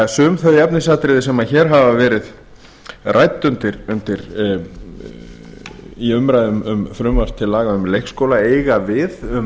sum þau efnisatriði sem hér hafa verið rædd í umræðum um frumvarp til laga um leikskóla eiga við um